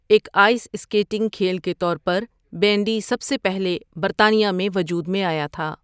ایک ice skating کھیل کے طور پر بینڈی سب سے پہلے برطانیہ میں وجود میں آیا تھا۔